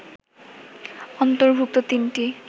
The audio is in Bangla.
অন্তর্ভুক্ত তিনটি